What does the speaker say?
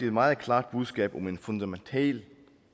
et meget klart budskab om en fundamental